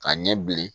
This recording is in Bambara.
Ka ɲɛ bilen